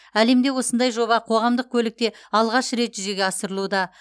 әлемде осындай жоба қоғамдық көлікте алғаш рет жүзеге асырылуда